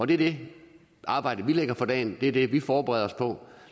det er det arbejde vi lægger for dagen det er det vi forbereder os på